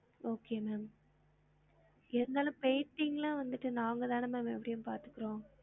Okay ma'am இருந்தாலும் painting லா வந்திட்டு நாங்க தான ma'am எப்டியும் பாத்துக்குறோம்